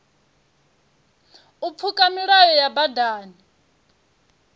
u pfuka milayo ya badani